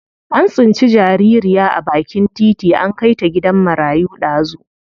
An tsinci jaririya a bakin titi an kai ta gidan marayu dazu.